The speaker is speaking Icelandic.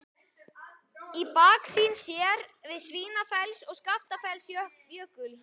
Í baksýn sér á Svínafells- og Skaftafellsjökul.